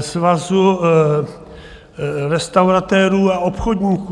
Svazu restauratérů a obchodníků.